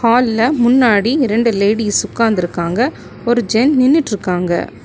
ஹால்ல முன்னாடி ரெண்டு லேடிஸ் உட்கார்ந்து இருக்காங்க ஒரு ஜென் நின்னுட்ருக்காங்க.